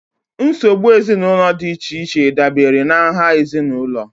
Nsogbu ezinụlọ dị iche iche dabere na nha ezinụlọ